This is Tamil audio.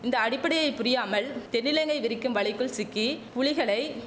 இந்த அடிப்படையை புரியாமல் தென்னிலங்கை விரிக்கும் வலைக்குள் சிக்கி புலிகளை